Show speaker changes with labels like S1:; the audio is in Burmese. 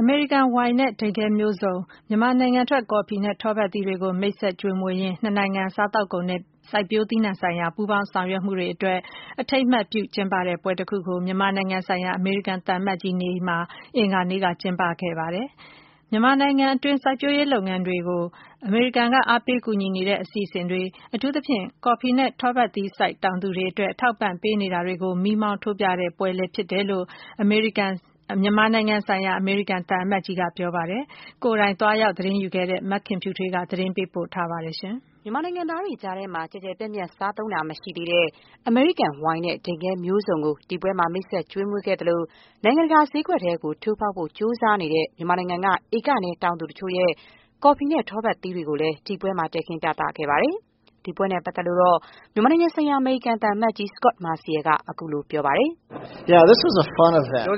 S1: အမေရိကန် ဝိုင်နဲ့ ဒိန်ခဲမျိုးစုံ၊ မြန်မာနိုင်ငံထွက် ကော်ဖီနဲ့ထောပတ်သီးတွေကို မိတ်ဆက်ကျွေးမွေးရင်း နှစ်နိုင်ငံ စားသောက်ကုန်နဲ့ စိုက်ပျိုးသီးနှံဆိုင်ရာ ပူးပေါင်းဆောင်ရွက်မှုတွေအတွက် အထိမ်းအမှတ်ပြု ကျင်းပတဲ့ပွဲတခုကို မြန်မာနိုင်ငံဆိုင်ရာ အမေရိကန်သံအမတ်ကြီး နေအိမ်မှာ အင်္ဂါနေ့ညက ကျင်းပခဲ့ပါတယ်။ မြန်မာနိုင်ငံအတွင်း စိုက်ပျိုးရေးလုပ်ငန်းတွေကို အမေရိကန်က အားပေးကူညီနေတဲ့ အစီအစဉ်တွေ၊ အထူးသဖြင့် ကော်ဖီနဲ့ ထောပတ်သီးစိုက် တောင်သူတွေအတွက် အထောက်အပံ့ ပေးနေတာတွေကို မီးမှောင်းထိုးပြတဲ့ပွဲလည်း ဖြစ်တယ်လို့ မြန်မာနိုင်ငံဆိုင်ရာ အမေရိကန်သံအမတ်ကြီးက ပြောပါတယ်။ ကိုယ်တိုင် သွားရောက်သတင်းယူခဲ့တဲ့ မခင်ဖြူထွေးက သတင်းပေးပို့ထားပါတယ်။
S2: မြန်မာနိုင်ငံသားတွေကြားမှာ ကျယ်ကျယ်ပြန့်ပြန့် စားသုံးတာမရှိသေးတဲ့
S1: အမေရိကန်ဝိုင် နဲ့ ဒိ
S2: န်ခဲမျိုးစုံကို ဒီပွဲမှာ မိတ်ဆက် ကျွေးမွေးခဲ့သလိုပဲ၊ နိုင်ငံတကာဈေးကွက်ထဲ ထိုးဖောက်နိုင်ဖို့ ကြိုးစားနေတဲ့ မြန်မာနိုင်ငံက ဧကနည်းတောင်သူတချို့ရဲ့ ကော်ဖီနဲ့ ထောပတ်သီးတွေကို ဒီပွဲမှာ တည်ခင်း ပြသခဲ့ပါတယ်။ ဒီပွဲနဲ့ ပတ်သက်လို့တော့ မြန်မာနိုင်ငံဆိုင်ရာ အမေရိကန်သံအမတ်ကြီး Scot Marciel က ခုလိုပြောပါတယ်။
S3: “ပျော်စ